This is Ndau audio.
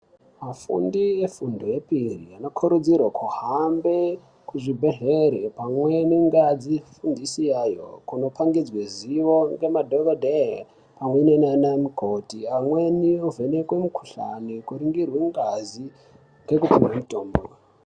Afundi efundo yepiri anokurudzirwe kuhambe kuzvibhedhleri pamweni ngeadzi fundisi yayo kundopangidzwe ziyo ngemadhokodhee pamwe nana mukoti amweni ovhenekwe ngazi kuringirwe ngazi ngekupihwe mutombo.